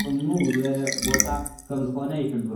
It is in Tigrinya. ጽምው ዝበለ ቦታ ከም ዝኾነ ይሕብሮ።